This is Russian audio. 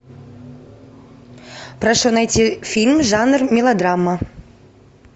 прошу найти фильм жанр мелодрама